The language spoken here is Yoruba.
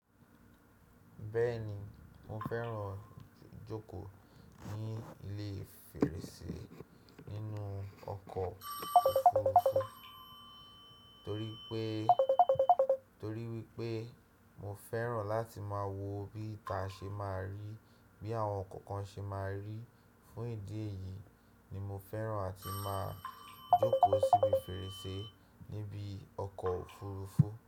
Bẹ́ẹ̀ni, mo fẹ́ràn jókòó ní ilé fèrèsé nínú ọkọ̀ òfurufú torí wípé mo fẹ́ràn láti máa wo bí ìta ṣe máa rí, bí àwọn ǹkan kan ṣe máa rí. Fún ìdí èyí ni mo fẹ́ràn àti máa jókòó síbi fèrèsé níbi ọkọ̀ òfurufú.